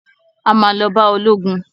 A ma lọ bá ológun